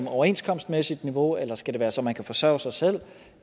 overenskomstmæssigt niveau eller skal det være så man kan forsørge sig selv